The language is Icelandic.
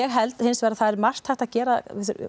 held hins vegar að það sé margt hægt að gera